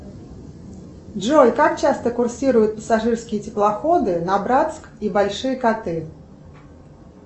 джой как часто курсируют пассажирские теплоходы на братск и большие коты